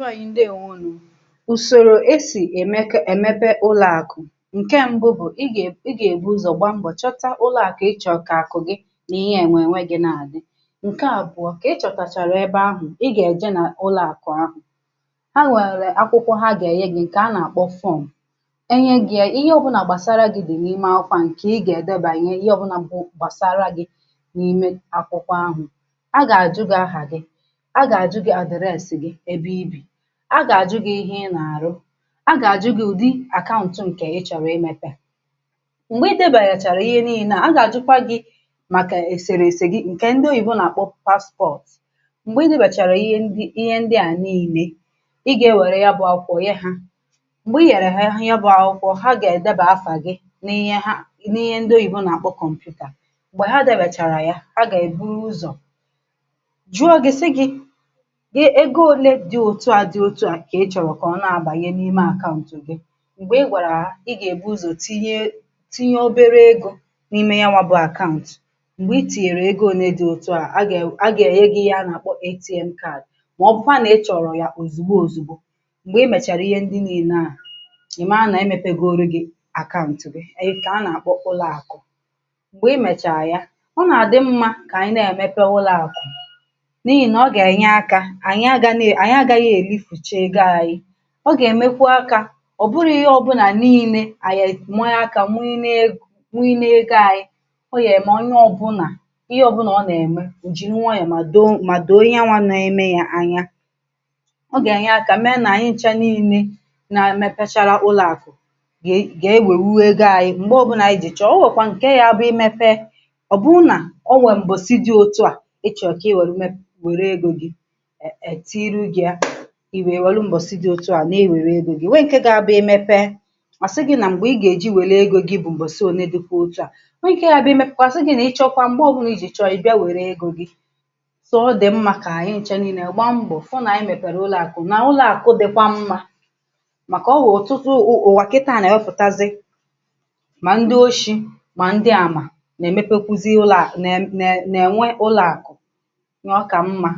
Ndị beànyị ndeèwȯ nù. Ụ̀sọ̀rò esì èmèké èmèpé ụlọ̀àkụ̀ ǹkè mbu bụ̀ ị gà è, ị gà èbu ụzọ̀ gbaa mbọ̀ chọta ụlọ̀àkụ̀ ị chọ̀kà àkụ̀ gị n’ihe ènwè ènwè gị na-àdị, ǹkè àbụ̀ọ̀ kà ị chọ̀kàchàrà ebe ahụ̀, ị gà èje n’ụlọ̀àkụ̀ àkụ̀ ha, ha nwèrè akwụkwọ ha gà-ènye gị̇ ǹkè a nà-àkpọ form. Enye gị̇ ya ihe ọ̀bụ̀nà gbàsàrà gị̇ dì n’ime akwụkwọ a, ǹkè ị gà-èdebanye, ịhe ọ̀bụ̀nà bụ gbàsàrà gị̇ n’ime akwụkwọ ahụ̇, a gà-àjụ̀ gị̇ aha gị, a gà-àjụ̀ gị address gị̇ ebe ịbi. A gà-àjụghị̀ ihe n’àrụ̀, a gà-àjụghị̀ ụ̀dị akaụ̀ntụ ǹkè ị chọ̀rọ̀ imèpè, m̀gbè ị debànyechàrà ihe niile, a gà-àjụkwa gị̇ màkà èsèrè èse gị̇ ǹkè ndị oyìbo nà-àkpọ pasipọ̀ọ̀t. M̀gbè ị debàchàrà ihe ndị, ihe ndịa niile, ị gà-ewèrè ya bụ̇ akwụkwọ ye hȧ, m̀gbè i yàrà ya, bụ̇ akwụkwọ ha gà-èdebà afà gị̇ n’ihe ha, i n’ihe ndị oyìbo nà-àkpọ kọmputa, m̀gbè ha debàchàrà ya, a gà-èbùrụ̀ ụzọ̀ jụọ gị̇, sị gị̇ ego òlè dị otú a dị otú a ka ịchọ̀rọ̀ ka ọ na-abà n’ime akaụ̀ntụ gị̇. M̀gbè ị gwàrà ha, ị gà-èbu ụzọ̀ tinye tinye obere egȯ n’ime ya n’wàbụ̀ akaụ̀ntụ̀, m̀gbè ị tìnyèrè ego ole dị̇ otú a, a gà-ènye ihe a nà-àkpọ ATM card, mà ọ bụ̀kwa a nà-ichọ̀rọ̀ yà òzìgbò òzìgbò, m̀gbè ị mèchàrà ihe ndị niile ahụ̀, ị̀ mara nà-èmèpegòrò gị̇ akaụ̀ntụ̀ bèànyị kà a nà-àkpọ ụlọ̀àkụ̀. M̀gbè ị mèchàrà ya, ọ nà-àdị mmȧ kà anyị̀ ndị èmèpé ụlọ̀àkụ̀ n’ihì nà ọ gà-ènye aka anyị̇, anyị̇ àgàna agaghị erifụ̀chà ego anyị̇, ọ gà-èmekwà àkà ọ̀bụ̀ghị ihe ọ̇bụ̇là niile ànyị amànyè àkà mụ̀nyí neė, mụ̀nyí neė egȯ anyị̇. Ọ yà-èmè onye ọ̇bụ̇nà ihe ọ̇bụ̇nà ọ nà-ème, o jiri nwayọ̀ mà doo mà doo onye anwà na-èmè yà anya. Ọ gà-ènye àkà, mèé nà anyị nchȧ niile na-èmėpachàrà ụlọ̀àkụ̀ gà e, gà-ewèwu egȯ anyị̇ m̀gbè ọ̇bụ̇nà anyị jì chọ̀ọ̀ o, nwèkwa ǹkè ya bụ imèpè, ọ̀ bụrụ nà o nwèrè m̀bọ̀ sì dị otu à, i chọ̀rọ̀ ka i wèrè mẹpà wèrè egȯ gị̇, ụ́m etinyere gị̇ ya, i inwèrè Ụ́bọ̀sì dị otú a nà-ewèrè egwú gị̇. Nwèe ǹkẹ̀ gà-àbà imèpè, àsị gị̇ nà m̀gbè ị gà-eji wèrè ego gị̇ bụ̀ m̀bọ̀sì onē, dịkwa otu̇ à, nwèe ìké ha bụ̀ imèpè kwàsị gị̇ nà ịchọ̀kwa m̀gbè ọ̀bụ̀nà nà ị jì chọ̀rọ̀ ị bịa wèrè ego gị̇. So ọ dị̀ mmȧ kà anyị ǹcha niile gba mbọ̀ fụ̀ nà ànyị mèpèrè ụlọ̀àkụ̀ nà ụlọ̀àkụ̀ dịkwà mmȧ, màkà ọwè ụ̀tụtụ̀ ụ̀wàkità nà-èwéfùtazì, mà ndị òshì̇, mà ndị àmà nà-èmèpé kwùzì ụlọ̀àkụ̀, nà ụ̀m è nwè ụlọ̀àkụ̀ nà ọkà mmȧ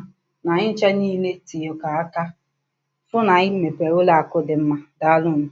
nà ànyị ǹcha niile tìnye kà àkà fụ̀ nà anyị mepèrè ụlọ̀àkụ̀ dị mmȧ, daalụ̀ nù.